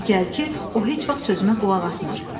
Di gəl ki, o heç vaxt sözümə qulaq asmır.”